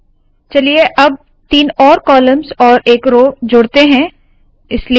चलिए अब तीन और कॉलम्स और एक रोव जोड़ते है